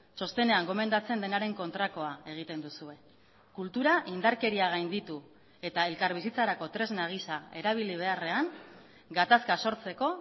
txostenean gomendatzen denaren kontrakoa egiten duzue kultura indarkeria gainditu eta elkarbizitzarako tresna gisa erabili beharrean gatazka sortzeko